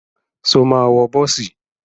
Ṣo máa wọ bọ́ọ̀sì?